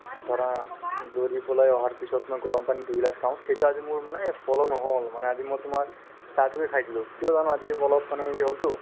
ধৰা দৌৰি পেলাই অহাৰ পিছত মই গৰম পানী দুই গিলাচ খাওঁ সেইটো আজি মোৰ মানে follow নহ'ল মানে আজি মই তোমাৰ চাহটোকে খাই দিলো কিয় জানা আজি মই অলপ মানে হ'লতো